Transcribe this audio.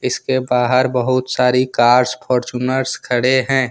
इसके बाहर बहुत सारी कर फॉर्च्यूनर खड़े हैं।